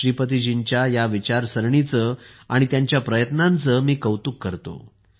श्रीपतीजींच्या या विचारसरणीचे आणि त्यांच्या प्रयत्नांचे मी कौतुक करतो